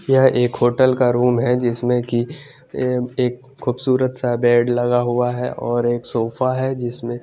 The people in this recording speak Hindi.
यह एक होटल का रूम है जिसमें कि अ खूबसूरत सा बेड लगा हुआ है और एक सोफा है जिसमें--